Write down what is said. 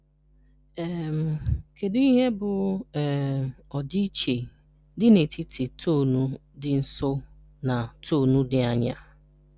um Kedu ihe bụ um ọdịiche dị n’etiti tonu ndị nso na tonu dị anya?